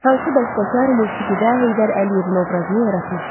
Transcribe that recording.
Hansı bəstəkar musiqidə Heydər Əliyevin obrazını yaratmışdı?